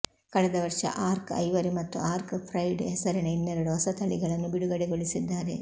ಕಳೆದ ವರ್ಷ ಅರ್ಕ್ ಐವರಿ ಮತ್ತು ಅರ್ಕ್ ಪ್ರೈಡ್ ಹೆಸರಿನ ಇನ್ನೆರಡು ಹೊಸ ತಳಿಗಳನ್ನು ಬಿಡುಗಡೆಗೊಳಿಸಿದ್ದಾರೆ